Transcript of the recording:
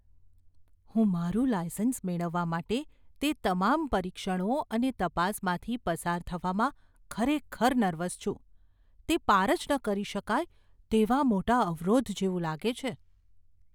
હું મારું લાઇસન્સ મેળવવા માટે તે તમામ પરીક્ષણો અને તપાસમાંથી પસાર થવામાં ખરેખર નર્વસ છું. તે પાર જ ન કરી શકાય તેવા મોટા અવરોધ જેવું લાગે છે.